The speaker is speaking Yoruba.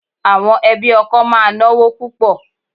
Àwọn ẹbí ọkọ máa náwó púpò.